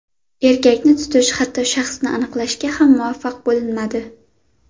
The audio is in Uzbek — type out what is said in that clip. Erkakni tutish, hatto shaxsini aniqlashga ham muvaffaq bo‘linmadi.